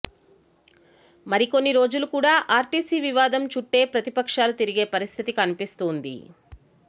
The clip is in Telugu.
మరి కొన్ని రోజులు కూడా ఆర్టీసీ వివాదం చుట్టే ప్రతిపక్షాలు తిరిగే పరిస్థితి కనిపిస్తుంది